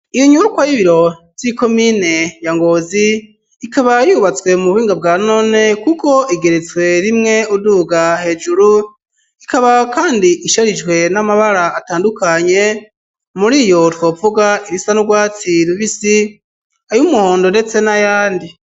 Iyo nyubako y'ibiro vy'ikomine ya Ngozi ikaba yubatswe mu buhinga bwa none kuko igeretswe rimwe uduga hejuru ikaba kandi isharijwe n'amabara atandukanye muri iyo twovuga ibisa n'urwatsi rubisi ayu muhondo ndetse n'ayandi.